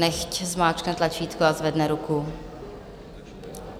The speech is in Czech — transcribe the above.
Nechť zmáčkne tlačítko a zvedne ruku.